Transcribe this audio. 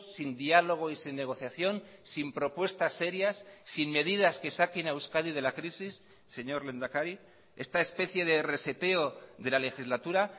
sin diálogo y sin negociación sin propuestas serias sin medidas que saquen a euskadi de la crisis señor lehendakari esta especie de reseteo de la legislatura